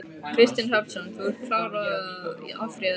Kristinn Hrafnsson: Þú ert klár á að áfrýja þessu?